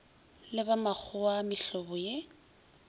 le ba makgowa mehlobo ye